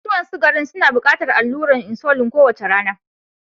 Masu ciwon sukari suna buƙatar allurar insulin kowace rana.